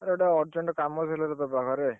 ଆରେ ଗୋଟେ urgent କାମ ଥିଲା ତୋ ପାଖରେ।